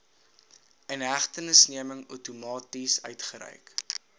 inhegtenisneming outomaties uitgereik